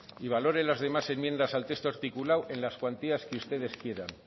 y valore las demás enmiendas al texto articulado en las cuantías que ustedes quieran